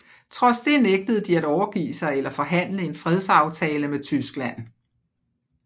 Trods det nægtede de at overgive sig eller forhandle en fredsaftale med Tyskland